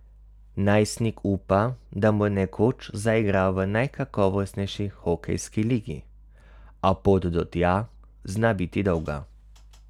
Najstnik upa, da bo nekoč zaigral v najkakovostnejši hokejski ligi, a pot do tja zna biti dolga.